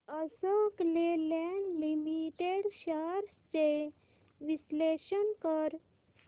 Ashok Leyland limited shares चे विश्लेषण कर